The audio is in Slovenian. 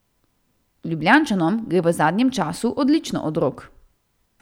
Ljubljančanom gre v zadnjem času odlično od rok.